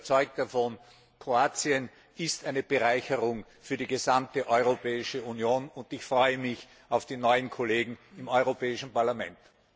Ich bin überzeugt davon Kroatien ist eine Bereicherung für die gesamte Europäische Union und ich freue mich auf die neuen Kollegen im Europäischen Parlament!